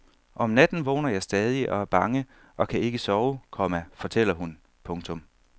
Om natten vågner jeg stadig og er bange og kan ikke sove, komma fortæller hun. punktum